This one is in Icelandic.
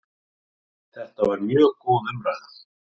Þetta var mjög góð umræða